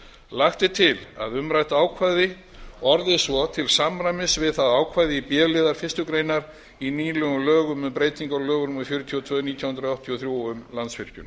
lagt er til að umrætt ákvæði orðist svo til samræmis við ákvæði b liðar fyrstu grein í nýlegum lögum um breytingu á lögum númer fjörutíu og tvö nítján hundruð áttatíu og þrjú um landsvirkjun